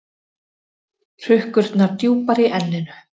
Hrukkurnar djúpar í enninu.